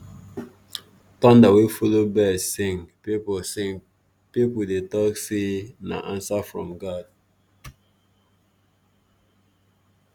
thunder wey follow bird sing people sing people dey talk say na answer from god.